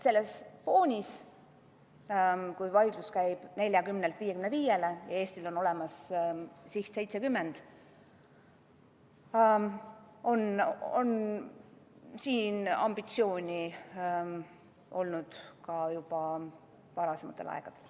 Sellel foonil, kui vaidlus käib 40%-lt 55%-le ülemineku üle ja Eesti siht on 70%, on siin ambitsiooni olnud juba varasematel aegadel.